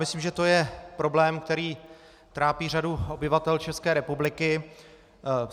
Myslím, že to je problém, který trápí řadu obyvatel České republiky.